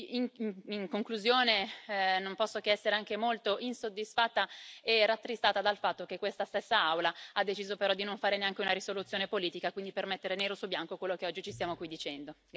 In conclusione, non posso che essere anche molto insoddisfatta e rattristata dal fatto che questa stessa Aula ha deciso di non fare neanche una risoluzione politica per mettere nero su bianco quello che oggi ci stiamo dicendo.